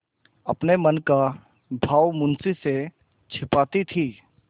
अपने मन का भाव मुंशी से छिपाती थी